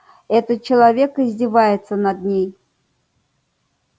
этот человек издевается над ней